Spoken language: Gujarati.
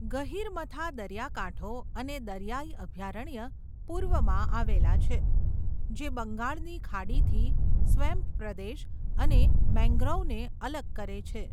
ગહીરમથા દરિયાકાંઠો અને દરિયાઈ અભયારણ્ય પૂર્વમાં આવેલા છે, જે બંગાળની ખાડીથી સ્વેમ્પ પ્રદેશ અને મેંગ્રોવને અલગ કરે છે.